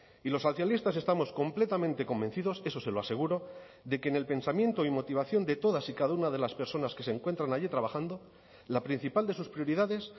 y los socialistas estamos completamente convencidos eso se lo aseguro de que en el pensamiento y motivación de todas y cada una de las personas que se encuentran allí trabajando la principal de sus prioridades